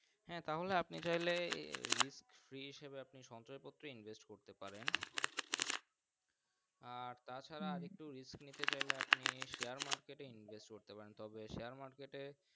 হ্যাঁ তাহলে আপনি চাইলে Resk c হিসাবে আপনি সঞ্চয় পত্র Interest করতে পারেন আর তাছাড়া আর একটু Risk নিতে চাইলে আপনি Share market এ আপনি Share Invest করতে পারেন তবে Share market এ